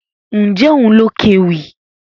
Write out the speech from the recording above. Ǹjẹ́ òun ló kéwì?